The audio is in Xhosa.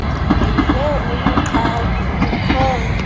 ndive umqhagi ukhonya